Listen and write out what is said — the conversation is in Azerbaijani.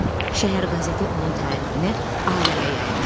Şəhər qəzeti onun tərifini aləmə yaymışdı.